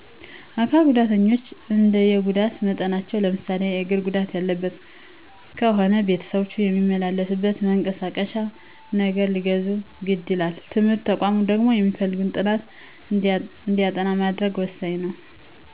አካል ጉዳተኞች እንደየጉዳት መጠናቸው ለምሳሌ የግር ጉዳት ያለበት ከሆነ ቤተሰቦቹ የሚመላለስበት መንቀሳቀሼ ነገር ሊገዙ ግድ ይላል። በትምህርት ተቋማት ደግሞ የሚፈልጉትን ጥናት እንዲያጠኑ ማድረግ ወሣኝ ነው።